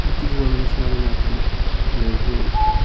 Beach ಗು ಪೋವಂದೆಲ ಸುಮಾರ್ ದಿನ ಆತುಂಡು ಅಡೆಗ್ ಪೋವೊಡು.